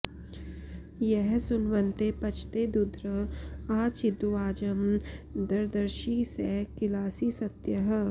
यः सुन्वते पचते दुध्र आ चिद्वाजं दर्दर्षि स किलासि सत्यः